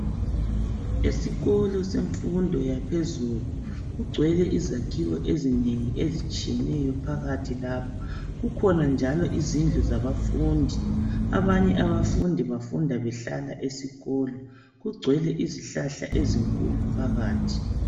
Esikolo yemnfundo yangaphezulu kugcwele izakhiwo ezinengi ezitshiyeneyo lapha , kukhona njalo izindlu zabafundi, abanye abafundi bahlala esikolo kukhona izihlahla ezikhulu phakathi.